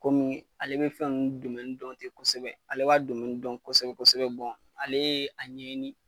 Komi ale bɛ fɛn nn dɔn te kosɛbɛ, ale b'a dɔn kosɛbɛ-kosɛbɛ alee a ɲɛɲini